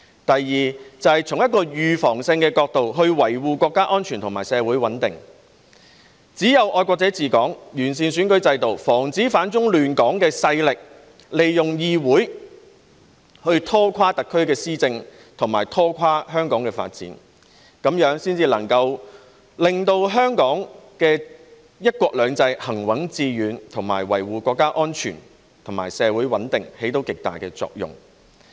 第二，是從預防性的角度，維護國家安全和社會穩定，只有"愛國者治港"、完善選舉制度，防止反中亂港的勢力利用議會拖垮特區的施政和香港的發展，這樣才能令香港的"一國兩制"行穩致遠，對維護國家安全和社會穩定產生極大作用。